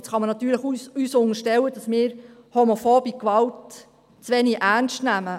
Jetzt kann man uns natürlich unterstellen, dass wir homophobe Gewalt zu wenig ernst nähmen.